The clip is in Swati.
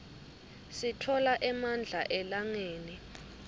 sitfola emandla elangeni